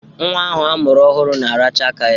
Nwa ahụ a mụrụ ọhụrụ na-aracha aka ya.